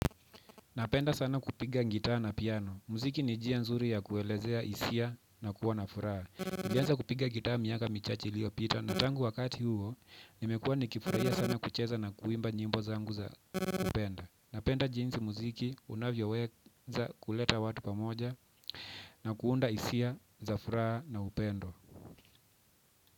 Napenda sana kupiga gitaa na piano. Muziki ni njia nzuri ya kuelezea hisia na kuwa na furaha. Nilianza kupiga gitaa miaka michache iliyopita na tangu wakati huo, nimekuwa nikifurahia sana kucheza na kuimba nyimbo zangu za kupenda. Napenda jinsi muziki unavyoweza kuleta watu pamoja na kuunda hisia za furaha na upendo.